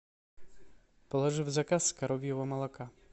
положи в заказ коровьего молока